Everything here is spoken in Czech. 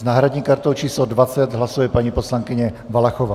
S náhradní kartou číslo 20 hlasuje paní poslankyně Valachová.